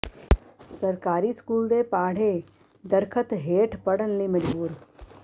ਸਰਕਾਰੀ ਸਕੂਲ ਦੇ ਪਾੜ੍ਹੇ ਦਰੱਖ਼ਤ ਹੇਠ ਪੜ੍ਹਨ ਲਈ ਮਜਬੂਰ